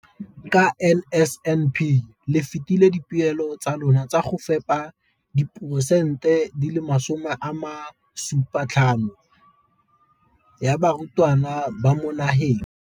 Ka NSNP le fetile dipeelo tsa lona tsa go fepa masome a supa le botlhano a diperesente ya barutwana ba mo nageng.